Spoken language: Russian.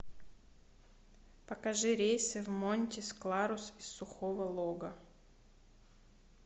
покажи рейсы в монтис кларус из сухого лога